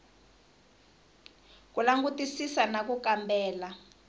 ku langutisisa na ku kambela